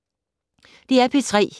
DR P3